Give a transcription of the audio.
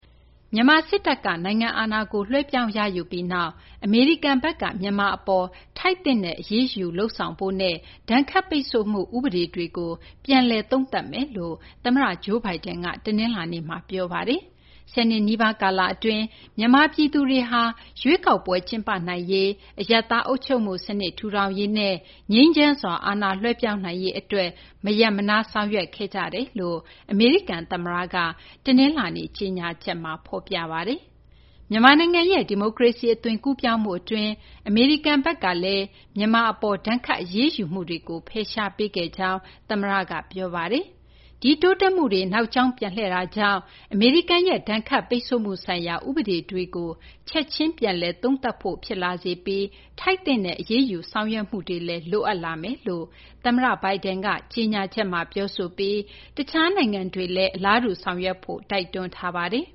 မြန်မာ စစ်တပ်က နိုင်ငံအာဏာကို လွှဲပြောင်းရယူပြီး နောက်မှာတော့ အမေရိကန်ဘက်က မြန်မာ အပေါ် ထိုက်သင့်တဲ့ အရေးယူ လုပ်ဆောင်ဖို့နဲ့ ဒဏ်ခတ်ပိတ်ဆို့မှု ဥပဒေတွေကို ပြန်လည် သုံးသပ်မယ်လို့ သမ္မတ Joe Biden က တနလာၤနေ့မှာ ပြောဆိုပါတယ်။ ၁၀ နှစ်နီးပါးကာလအတွင်း မြန်မာပြည်သူတွေဟာ ရွေးကောက်ပွဲ ကျင်းပနိုင်ရေး၊ အရပ်သားအုပ်ချုပ်မှုစနစ် ထူထောင်ရေးနဲ့ ငြိမ်းချမ်းစွာ အာဏာလွှဲပြောင်းနိုင်ရေးအတွက် မရပ်မနား ဆောင်ရွက်ခဲ့ကြတယ်လို့ အမေရိကန် သမ္မတ Joe Biden က တနလာၤနေ့ ကြေညာချက်မှာ ပြောဆိုထားပါတယ်။ မြန်မာနိုင်ငံရဲ့ ဒီမိုကရေစီ အသွင်ကူးပြောင်းမှု အတွင်းမှာ အမေရိကန်ဘက်ကလည်း မြန်မာ အပေါ် ဒဏ်ခတ် အရေးယူမှုတွေကို ဖယ်ရှားပေးခဲ့ကြောင်းလည်း သမ္မတက ပြောဆိုပါတယ်။ ဒီတိုးတက်မှုတွေ နောက်ကြာင်းပြန်လှည့်တာကြောင့် အမေရိကန်ရဲ့ ဒဏ်ခတ်ပိတ်ဆို့မှုဆိုင်ရာ ဥပဒေတေကို ချက်ချင်း ပြန်လည် သုံးသပ်ဖို့ ဖြစ်လာစေပြီး ထိုက်သင့်တဲ့ အရေးယူ ဆောင်ရွက်မှုတွေလည်း လိုအပ်လာမယ်လို့ သမ္မတက ကြေညာချက်မှာ ပြောဆိုပြီး တခြားနိုင်ငံတွေက အလားတူ ဆောင်ရွက်ဖို့လည်း တိုက်တွန်းထားပါတယ်